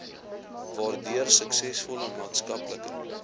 waardeur suksesvolle maatskaplike